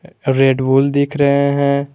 Red Bull दिख रहे हैं।